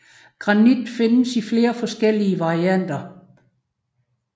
Granit findes i flere forskellige varianter